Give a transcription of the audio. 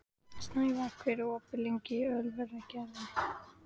Snævarr, hvað er opið lengi í Ölgerðinni?